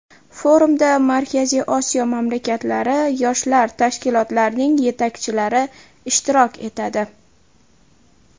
Forumda Markaziy Osiyo mamlakatlari yoshlar tashkilotlarining yetakchilari ishtirok etadi.